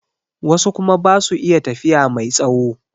Wasu kuma basu iya tafiya mai tsawo